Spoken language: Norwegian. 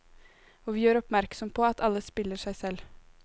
Og vi gjør oppmerksom på at alle spiller seg selv.